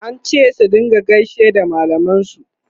an ce su rinka gaishe da mallaman su